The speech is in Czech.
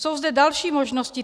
Jsou zde další možnosti.